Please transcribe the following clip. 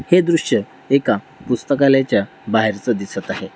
हे दृश एका पुस्तकालयाच्या बाहेरच दिसत आहे.